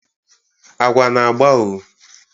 agwa na-agba o